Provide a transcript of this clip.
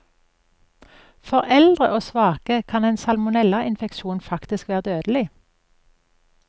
For eldre og svake kan en salmonellainfeksjon faktisk være dødelig.